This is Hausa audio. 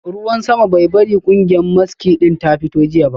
Ruwan sama bai bari kungiyar maski din ta fito jiya ba